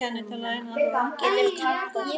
Geturðu tálgað hvað sem er?